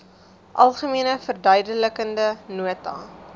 algemene verduidelikende nota